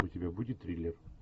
у тебя будет триллер